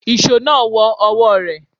Ìṣó náà wọ ọwọ́ rẹ̀.